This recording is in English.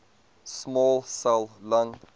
small cell lung